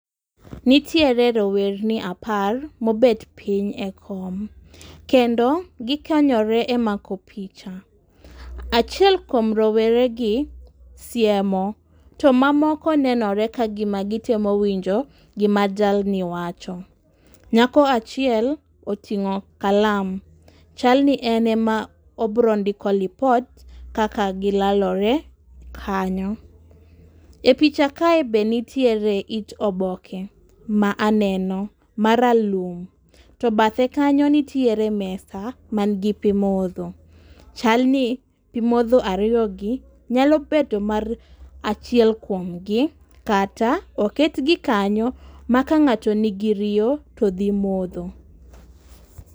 nitiere rowerni apar mobet piny e kom, kendo gikonyore e mako picha, achiel kuom roweregi siemo, to mamoko nenore ka gima gitemo winjo gima jalni wacho. Nyako achiel oting'o kalam, chalni en ema obro ndiko lipot kaka gilalore kanyo,e picha kae be nitiere it oboke ma aneno ma ralum, to bathe kanyo nitiere mesa manigi pi modho, chalni pi modho ariogi nyalo bedo mar achiel kuom gi kata oketgi kanyo ma ka ng'ato nigi riyo, to dhi modho.